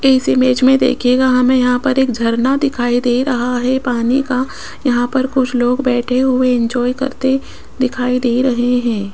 इस इमेज में देखियेगा हमें यहां पर एक झरना दिखाई दे रहा है पानी का यहां पर कुछ लोग बैठे हुए इंजॉय करते दिखाई दे रहे हैं।